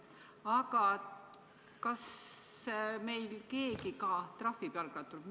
Aga kas meil keegi ka trahvib jalgrattureid?